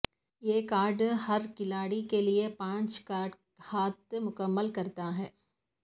یہ کارڈ ہر کھلاڑی کے لئے پانچ کارڈ ہاتھ مکمل کرتا ہے